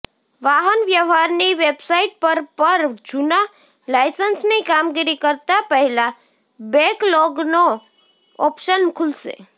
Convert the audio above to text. વાહનવ્યવહારની website પર પર જૂના લાઇસન્સની કામગીરી કરતા પહેલા બેકલોગનો ઓપ્શન ખૂલશે